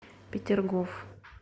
петергоф